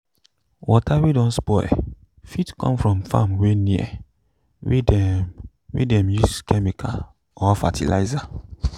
water wey don spoil fit come from farm wey near wey de wey de use chemical or fertilizer